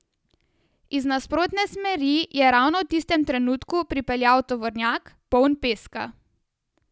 Iz nasprotne smeri je ravno v tistem trenutku pripeljal tovornjak, poln peska.